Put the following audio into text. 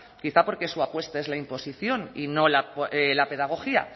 quizá porque su apuesta es la imposición y no la pedagogía